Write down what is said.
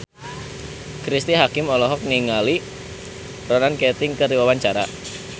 Cristine Hakim olohok ningali Ronan Keating keur diwawancara